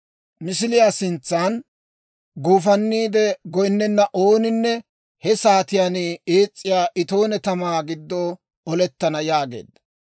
Misiliyaa sintsan guufanniide goynnena ooninne he saatiyaan ees's'iyaa itooniyaa tamaa giddo olettana» yaageedda.